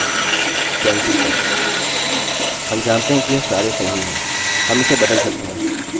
हम इसे बदल सकते हैं चलिए कहते हैं कि हमें 10 गुणे का पहाड़ा चाहिए